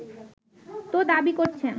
তো দাবি করছেন